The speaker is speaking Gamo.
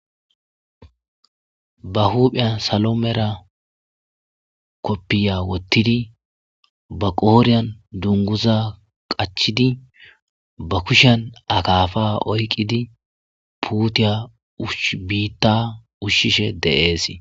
ba huupheya salomera koppiya wottidi ba qooriyan dunguza qachidi ba kushan akaafa oyqidi puutiya shbiitta ushshishe de7ees